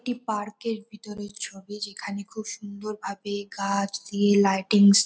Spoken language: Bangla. একটি পার্ক -এর ভিতরের ছবি যেখানে খুব সুন্দর ভাবে গাছ দিয়ে লাইটিংস --